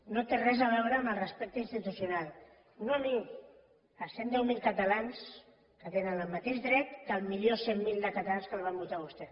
no té res a veure amb el respecte institucional no a mi a cent i deu mil catalans que tenen el mateix dret que el milió cent mil catalans que el van votar a vostè